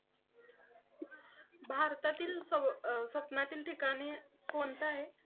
भारतातील स्वप्नातील ठिकाणे कोणती आहेत?